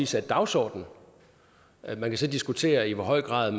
satte dagsordenen man kan så diskutere i hvor høj grad